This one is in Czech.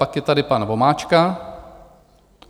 Pak je tady pan Vomáčka.